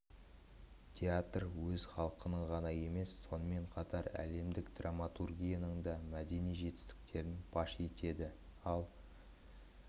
театр өз халқының ғана емес сонымен қатар әлемдік драматургияның да мәдени жетістіктерін паш етеді ал